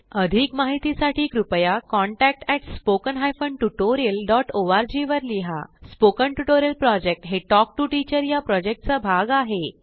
अधिक माहितीसाठी कृपया contact at spoken hyphen tutorial dot ORG वर लिहा स्पोकन ट्युटोरियल प्रॉजेक्ट हे टॉक टू टीचर या प्रॉजेक्टचा भाग आहे